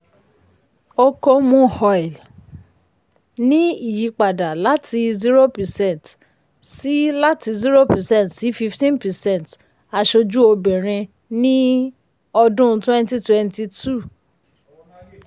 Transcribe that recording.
okomu oil um ní ìyípadà láti zero percent sí láti zero percent sí fifteen percent aṣojú obìnrin ní um ọdún twenty twenty two. um